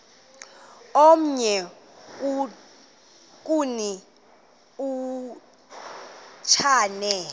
omnye kuni uchane